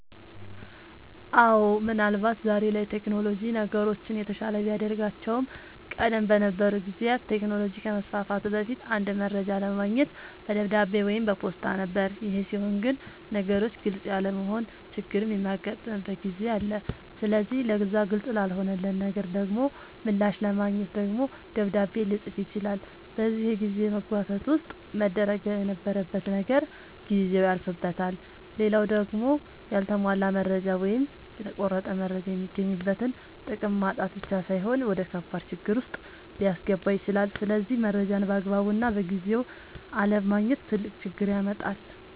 አወ ምን አልባት ዛሬ ላይ ቴክኖሎጅ ነገሮችን የተሻለ ቢያደርጋቸውም ቀደም በነበሩ ጊዜያት ቴክኖሎጅ ከመስፋፋቱ በፊት አንድ መረጃ ለማግኘት በደብዳቤ ወይም በፖስታ ነበር ይሄ ሲሆን ግን ነገሮች ግልፅ ያለመሆን ችግርም የሚያጋጥምበት ጊዜ አለ ስለዚህ ለዛ ግልፅ ላልሆነለት ነገር ደሞ ምላሽ ለማግኘት ደግሞ ደብዳቤ ልፅፍ ይችላል በዚህ የጊዜ መጓተት ውስጥ መደረግ የነበረበት ነገር ጊዜው ያልፍበታል። ሌላው ደሞ ያልተሟላ መረጃ ወይም የተቆረጠ መረጃ የሚገኝበትን ጥቅም ማጣት ብቻ ሳይሆን ወደከባድ ችግር ዉስጥ ሊያስገባ ይችላል ስለዚህ መረጃን ባግባቡና በጊዜው አለማግኘት ትልቅ ችግር ያመጣል